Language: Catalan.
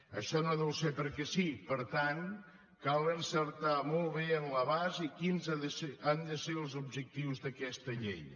això no deu ser perquè sí per tant cal encertar molt bé en l’abast i quins han de ser els objectius d’aquesta llei